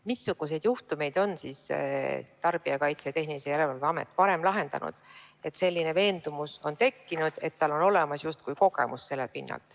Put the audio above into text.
Missuguseid juhtumeid on Tarbijakaitse ja Tehnilise Järelevalve Amet varem lahendanud, et on tekkinud veendumus, justkui tal oleks olemas sellealane kogemus?